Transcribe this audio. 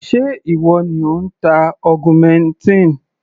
Ṣé ìwọ ni ò ń ta augmentin?